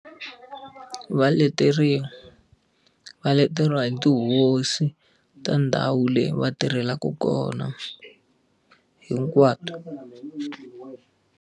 Va leteriwa. Va leteriwa hi tihosi ta ndhawu leyi va tirhelaka kona, hinkwato.